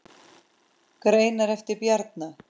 Greinar eftir Bjarna